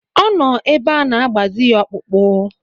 Ọ nọ ebe ana-agbazi ya ọkpụkpụ.